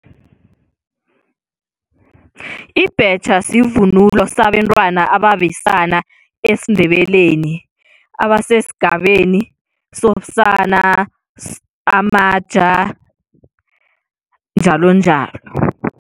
Ibhetjha sivunulo sabentwana ababesana esiNdebeleni abasesigabeni sobusana, samaja, njalonjalo.